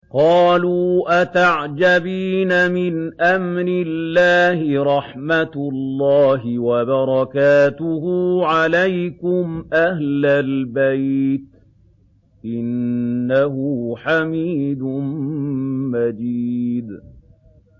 قَالُوا أَتَعْجَبِينَ مِنْ أَمْرِ اللَّهِ ۖ رَحْمَتُ اللَّهِ وَبَرَكَاتُهُ عَلَيْكُمْ أَهْلَ الْبَيْتِ ۚ إِنَّهُ حَمِيدٌ مَّجِيدٌ